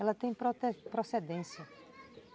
Ela tem pro procedência.